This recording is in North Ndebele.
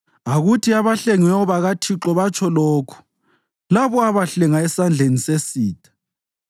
Akuthi abahlengiweyo bakaThixo batsho lokhu, labo abahlenga esandleni sesitha,